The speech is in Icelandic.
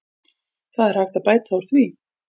Það er hægt að bæta úr því.